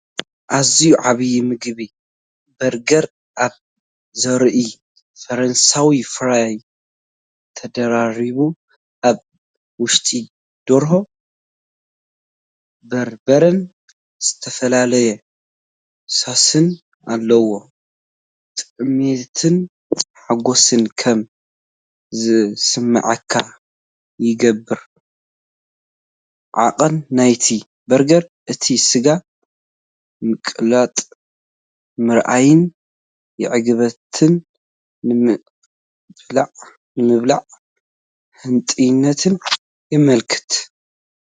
ኣዝዩ ዓብን ምግቢ በርገር ኣብ ዙርያኡ ፈረንሳዊ ፍራይ ተደራሪቡ። ኣብ ውሽጡ ደርሆ፡ በርበረን ዝተፈላለየ ሶስን ኣለዎ። ጥሜትን ሓጎስን ከም ዝስምዓካ ይገብር። ዓቐን ናይቲ በርገርን እቲ ስጋ ምቕላጥ ምርኣይን ዕግበትን ንምብላዕ ህንጡይነትን የመልክት።